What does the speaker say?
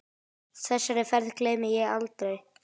Þessari ferð gleymi ég aldrei.